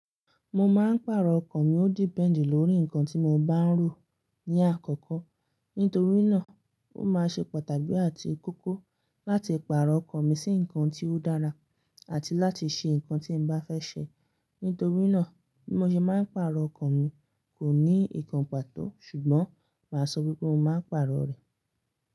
Mo máa ń pàrọ̀ ọkọ̀ mi ó depend lórí nǹkan tí mo bá ń rò ní àkọ́kọ́. Nítorí náà, ó máa n ṣe pataki àti kókó láti pàrọ̀ ọkọ̀ mi sí nǹkan tí ó dára àti láti ṣe nǹkan tí n bá fẹ́ ṣe. Nítorí náà, bí mo ṣe máa ń pàrọ̀ ọkọ̀ mi kò ní ikàn pàtó ṣùgbọ́n màá sọ wípé mo máa ń pàrọ̀ rẹ̀